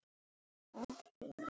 Það er ansi mikið hrós!